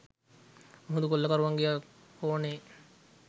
මුහුදු කොල්ලකරුවන්ගේ කෝණයෙන්